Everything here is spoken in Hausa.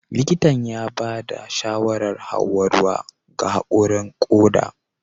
Likitan ya ba da shawarar Hauwa ruwa ga haƙurin koda